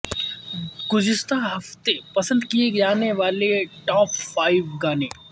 گزشتہ ہفتے پسند کئے جانے والے ٹاپ فائیو گانے